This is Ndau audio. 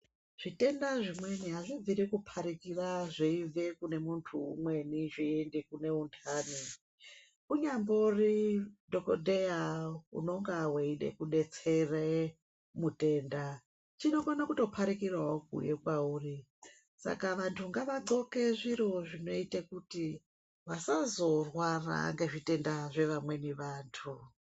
Zvitenda zvimweni azvibviri kupharikira zveibve kune muntu umweni zveienda kune unhani, unyambori dhokodheya unenge weide kudetsera mutenda chinokone kupharikirawo kwauri saka vantu ngavagxoke zvinoita vasazorwara ngezvitenda zvevamweni vantu.